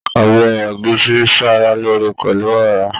Ọbẹ egusi n sára lóore pẹlú ọra.